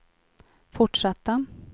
fortsatta